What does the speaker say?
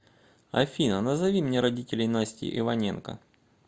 афина назови мне родителеи насти иваненко